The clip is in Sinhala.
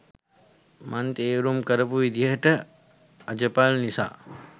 මං තේරුම් කරපු විදිහ අජපල් නිසා